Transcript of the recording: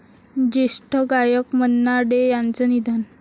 ज्येष्ठ गायक मन्ना डे यांचं निधन